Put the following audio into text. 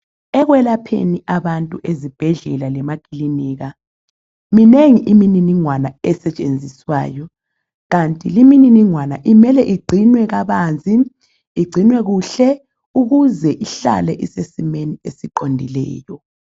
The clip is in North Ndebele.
ekwelapheni abantu ezibhedlela lemakilinika minengi imililingwana esetshenziswayo Kanti limililingwana imele igcinwe kabanzi igcinwe kuhle ukuze ihlale isesimweni esiqondileyo